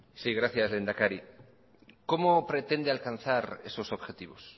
gracias lehendakari cómo pretende alcanzar esos objetivos